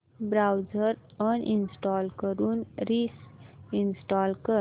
browser uninstall करून reinstall कर